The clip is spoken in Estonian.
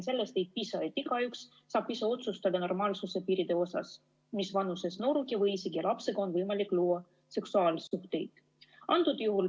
Sellest ei piisa, kui igaüks saab ise otsustada normaalsuse piiride üle, mis vanuses nooruki või isegi lapsega on võimalik luua seksuaalsuhteid.